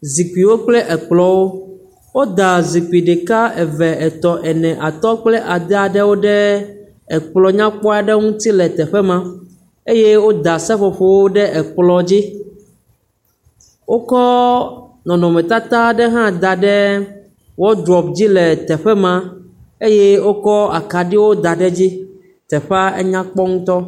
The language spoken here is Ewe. Zikpiwo kple ekplɔ̃wo. Woda zikpi ɖeka, eve, etɔ̃, ene atɔ̃ kple ade aɖewo ɖe ekplɔ̃ nyakpɔ aɖe ŋuti le teƒe ma. Eye woda seƒoƒowo ɖe ekplɔ̃ dzi. Wokɔ nɔnɔmetata aɖe hã da ɖe wɔdrɔp dzi le teƒe ma eye wokɔ akaɖiwo ɖe gteƒe ma. Teƒea enya kpɔ ŋutɔ.